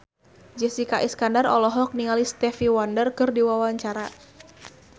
Jessica Iskandar olohok ningali Stevie Wonder keur diwawancara